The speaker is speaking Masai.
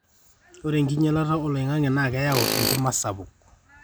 ore enkinyialata olong'ang'e naa keyau enkima sapuk